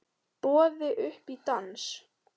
Boðið upp í dans